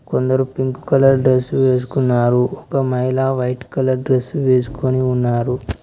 కొందరు pink colour dress వేసుకున్నారు ఒక మహిళ వైట్ కలర్ డ్రస్ వేసుకొని ఉన్నారు.